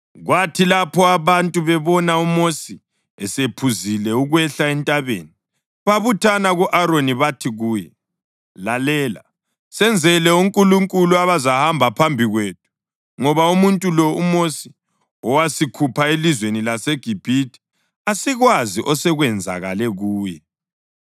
Kwathi lapho abantu bebona uMosi esephuzile ukwehla entabeni, babuthana ku-Aroni bathi kuye, “Lalela, senzele onkulunkulu abazahamba phambi kwethu, ngoba umuntu lo, uMosi owasikhupha elizweni laseGibhithe, asikwazi osekwenzakale kuye.”